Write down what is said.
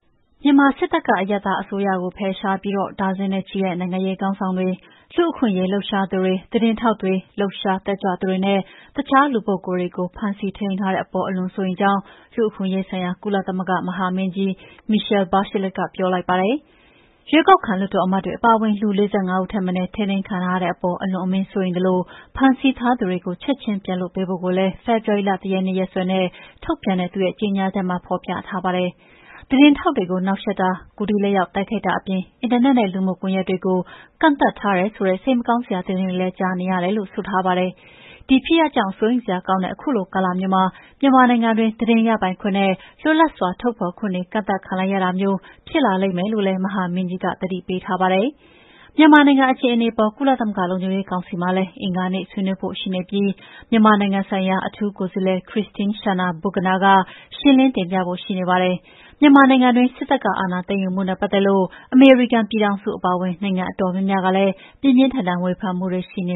မြန်မာစစ်တပ်က အရပ်သားအစိုးရကို ဖယ်ရှားပြီး ဒါဇင်နဲ့ ချီတဲ့နိုင်ငံရေးခေါင်းဆောင်တွေ၊ လူ့အခွင့်အရေးလှုပ်ရှားသူတွေ၊ သတင်းထောက်တွေ၊ လှုပ်ရှားတက်ကြွသူတွေနဲ့ အခြားလူပုဂ္ဂိုလ်တွေကို စစ်တပ်က ဖမ်းဆီးထိန်းသိမ်းထားတဲ့အပေါ် အလွန်စိုးရိမ်ကြောင်း လူ့အခွင့်အရေးဆိုင်ရာ ကုလသမဂ္ဂမဟာမင်းကြီး Michelle Bachelet က ပြောလိုက်ပါတယ်။ ရွေးကောက်ခံလွှတ်တော် အမတ်တွေအပါအဝင် လူ ၄၅ ဦးထက်မနည်း ထိန်းသိမ်းခံထားရတဲ့အပေါ် အလွန်အမင်းစိုးရိမ်သလို ဖမ်းဆီးထားသူတွေကို ချက်ခြင်းပြန်လွှတ်ပေးဖို့ကိုလည်း ဖေဖော်ဝါရီလ ၁ ရက်နေ့ ရက်စွဲနဲ့ ထုတ်ပြန်တဲ့ သူ့ကြေညာချက်မှာ ဖော်ပြထားပါတယ်။ သတင်းထောက်တွေကို နှောင့်ယှက်တာ၊ ကိုယ်ထိလက်ရောက်တိုက်ခိုက်တာအပြင် အင်တာနက်နဲ့ လူမှုကွန်ယက်တွေကို ကန့်သတ်ထားတယ်ဆိုတဲ့ စိတ်မကောင်းစရာသတင်းတွေလည်း ကြားသိနေရတယ်လို့ ဆိုထားပါတယ်။ ဒီဖြစ်ရပ်ကြောင့် စိုးရိမ်စရာကောင်းလှတဲ့ခုလိုကာလမျိုးမှာ မြန်မာနိုင်ငံတွင်း သတင်းရပိုင်ခွင့်နဲ့ လွတ်လပ်စွာထုတ်ဖော်ခွင့်တွေ ကန့်သတ်ခံလိုက်ရတာမျိုးဖြစ်လာလိမ့်မယ်လို့လည်း မဟာမင်းကြီး Bachelet က သတိပေးထားပါတယ်။ မြန်မာနိုင်ငံအခြေအနေအပေါ် ကုလသမဂ္ဂလုံခြုံရေးကောင်စီမှာလည်း အင်္ဂါနေ့ ဆွေးနွေးဖို့ရှိနေပြီး မြန်မာနိုင်ငံဆိုင်ရာ အထူးကိုယ်စားလှယ် Christine Schraner Burgener က ရှင်းလင်းတင်ပြဖို့ရှိနေပါတယ်။ မြန်မာနိုင်ငံတွင်း စစ်တပ်က အာဏာသိမ်းယူမှုနဲ့ ပတ်သက်လို့ အမေရိကန်ပြည်ထောင်စုအပါအဝင် နိုင်ငံအတော်များများကလည်း ပြင်းပြင်းထန်ထန်ဝေဖန်မှု ရှိနေ